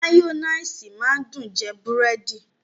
Mayonnaise máa ń dùn jẹ búrẹ́dì